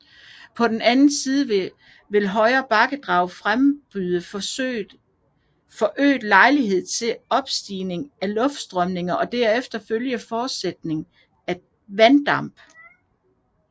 På den anden side vil højere bakkedrag frembyde forøget lejlighed til opstigende luftstrømninger og deraf følgende fortætning af vanddamp